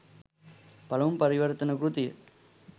පළමු පරිවර්තන කෘතිය.